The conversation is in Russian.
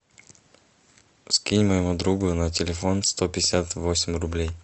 скинь моему другу на телефон сто пятьдесят восемь рублей